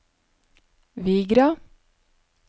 Vigra